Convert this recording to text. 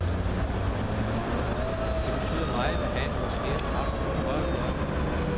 Det betyder meget at have en rutineret kraft på højre fløj.